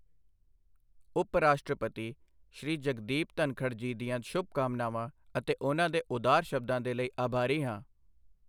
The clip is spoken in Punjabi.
ਉਪ ਰਾਸ਼ਟਰਪਤੀ ਸ਼੍ਰੀ ਜਗਦੀਪ ਧਨਖੜ ਜੀ ਦੀਆਂ ਸ਼ੁਭਕਾਮਨਾਵਾਂ ਅਤੇ ਉਨ੍ਹਾਂ ਦੇ ਉਦਾਰ ਸ਼ਬਦਾਂ ਦੇ ਲਈ ਆਭਾਰੀ ਹਾਂ।